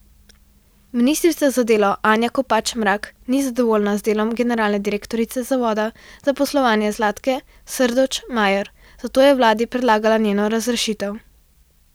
Ministrica za delo Anja Kopač Mrak ni zadovoljna z delom generalne direktorice zavoda za zaposlovanje Zlatke Srdoč Majer, zato je vladi predlagala njeno razrešitev.